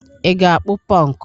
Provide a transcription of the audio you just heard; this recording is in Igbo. Ị ga-akpụ Pọnk?